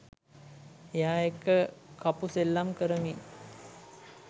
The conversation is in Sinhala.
එයා එක්ක කපු සෙල්ලම් කරමින්